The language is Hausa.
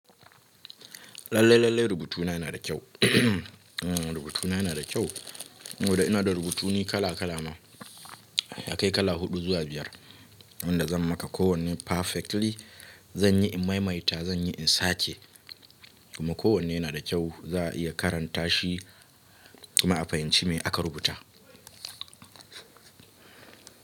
Lalle-lalle rubutu na yana da kyau. Rubutu na yana da kyau, domin ina da rubutuni kala-kala ma, ya kai kala huɗu zuwa biyar, wanda zan maka kowanne perfectly. Zan yi in maimaita, zan yi in sace, kuma kowanne yana da kyau za a iya karanta shi, kuma a fahimci me aka rubuta.